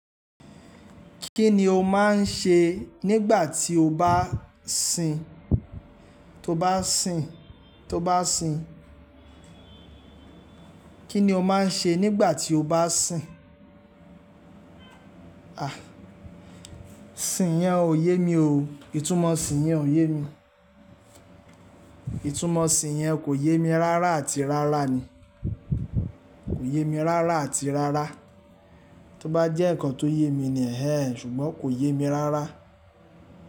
Kí ni o máa ń ṣe nígbà tí o bá sìn? Tó bá sìn, tó bá sìn. Kí ni o máa ń ṣe nígbà tí o bá sìn? Àh! Sìn yẹn ò yé mi o. Ìtúmò sìn yẹn ò yé mi. Ìtúmò sìn yẹn kò yé mi rárá àti rárá ni. Kò yé mi rárá àti rárá. Tó bá jẹ́ ǹkan tó yé mi ni ẹ̀ ẹ́ ẹ̀ ṣùgbọ́n kò yé mi rárá.